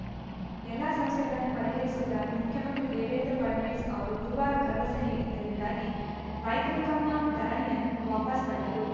ಎಲ್ಲ ಸಮಸ್ಯೆಗಳನ್ನು ಪರಿಹರಿಸುವುದಾಗಿ ಮುಖ್ಯಮಂತ್ರಿ ದೇವೇಂದ್ರ ಫಡ್ನವೀಸ್‌ ಅವರು ಗುರುವಾರ ಭರವಸೆ ನೀಡಿದ್ದರಿಂದಾಗಿ ರೈತರು ತಮ್ಮ ಧರಣಿಯನ್ನು ವಾಪಸ್‌ ಪಡೆದರು